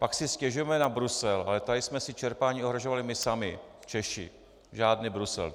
Pak si stěžujme na Brusel, ale tady jsme si čerpání ohrožovali my sami Češi, žádný Brusel.